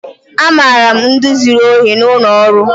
Amara m ndi zuru ohi n'ụlọ ọrụ.